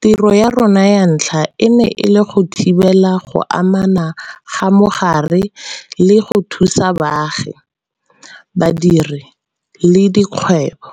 tiro ya rona ya ntlha e ne e le go thibela go anama ga mogare le go thusa baagi, badiri le dikgwebo.